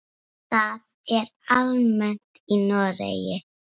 Það er almennt í Noregi.